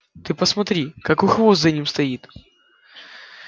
ты посмотри какой хвост за ними стоит